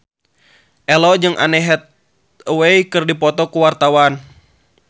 Ello jeung Anne Hathaway keur dipoto ku wartawan